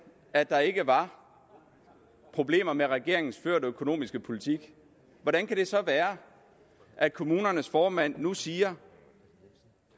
at der ikke var problemer med regeringens førte økonomiske politik hvordan kan det så være at kommunernes formand nu siger